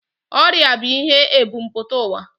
Ọrịa bụ ihe ebumpụta ụwa